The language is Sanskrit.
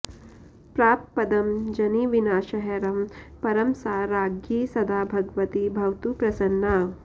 प्राप्त पदं जनिविनाशहरं परं सा राज्ञी सदा भगवती भवतु प्रसन्ना